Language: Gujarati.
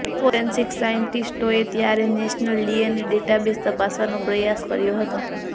ફોરેન્સીક સાયન્ટીસ્ટોએ ત્યારે નેશનલ ડીએનએ ડેટાબેઝ તપાસવાનો પ્રયાસ કર્યો હતો